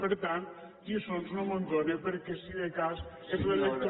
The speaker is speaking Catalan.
per tant de lliçons no me’n done perquè si de cas és l’electorat